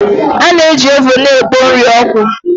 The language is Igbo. A na-eji ovuun na-ekpo nri ọkụ